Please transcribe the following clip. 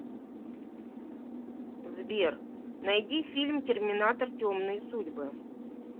сбер найди фильм терминатор темные судьбы